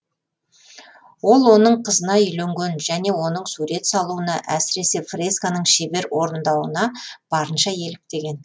ол оның қызына үйленген және оның сурет салуына әсіресе фресканың шебер орындауына барынша еліктеген